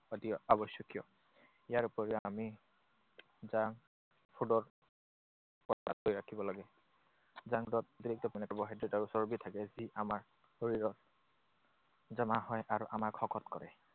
অতি আৱশ্যকীয়। ইয়াৰ উপৰিও আমি কৰি ৰাখিব লাগে। Junk food ত অতিৰিক্ত পৰিমাণে কাৰ্বহাইড্ৰেট আৰু চৰ্বী থাকে, যি আমাৰ শৰীৰত জমা হয় আৰু আমাক শকত কৰে।